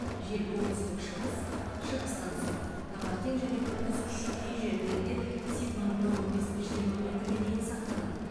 жел оңтүстік шығыс шығыстан соғады таңертең және күндіз күші кей жерлерде секундына он бес жиырма метрге дейін сақталады